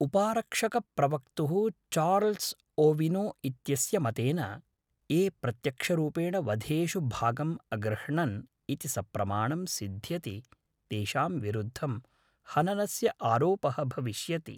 उपारक्षकप्रवक्तुः Charles Owino इत्यस्य मतेन, ये प्रत्यक्षरूपेण वधेषु भागम् अगृह्णन् इति सप्रमाणं सिध्यति तेषां विरुद्धं हननस्य आरोपः भविष्यति।